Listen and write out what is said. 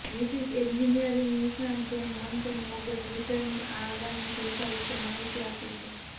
વિપરીત એન્જિનિયરિંગ નિષ્ણાત Jane Manchun વોંગે ટ્વિટરની આ આગામી સુવિધા વિશે માહિતી આપી છે